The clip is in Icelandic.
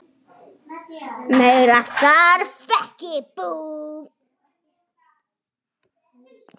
Meira þarf ekki.